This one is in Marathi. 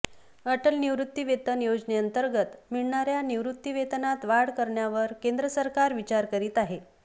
अटल निवृत्तीवेतन योजनेअंतर्गत मिळणाऱया निवृत्तीवेतनात वाढ करण्यावर केंद्र सरकार विचार करीत आहे